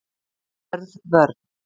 Hörð vörn